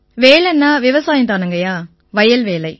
வேலைன்னா விவசாயம் தானுங்கய்யா வயல் வேலை